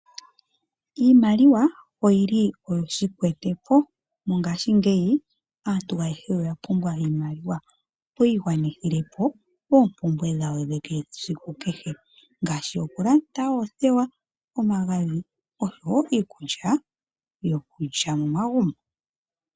Iimaliwa oyili oyo shikwetepo. Mongashingeyi aantu ayehe oya pumbwa iimaliwa, opo yi igwanithile po oompumbwe dhawo dhesiku kehe, ngashi oku landa oothewa, omagadhi osho wo iikulya yokulya momagumbo.